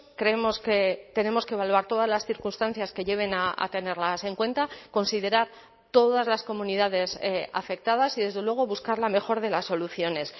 creemos que tenemos que evaluar todas las circunstancias que lleven a tenerlas en cuenta considerar todas las comunidades afectadas y desde luego buscar la mejor de las soluciones